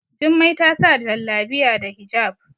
Jummai ta sa Jallabiya da hijab